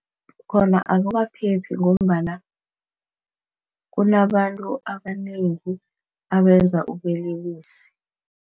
Khona akukaphephi ngombana kunabantu abanengi abenza ubulelesi.